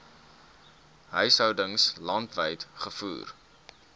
huishoudings landwyd gevoer